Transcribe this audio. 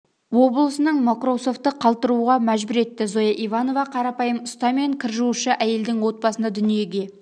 облысының мокроусовты қалтыруға мәжбүр етті зоя иванова қарапйым ұста мен кір жуушы әйелдің отбасында дүниеге